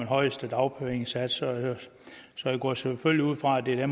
højeste dagpengesats så jeg går selvfølgelig ud fra at det er